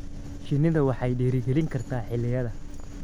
Shinnidu waxay dhiirigelin kartaa xilliyada.